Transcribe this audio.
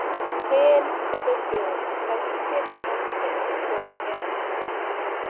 Kyn eru þrjú: karlkyn, kvenkyn og hvorugkyn.